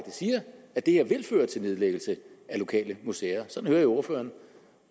siger at det her vil føre til nedlæggelse af lokale museer sådan hører jeg ordføreren